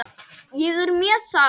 Ég er mjög sátt.